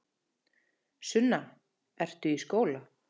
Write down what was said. Sunna: Ertu í skóla?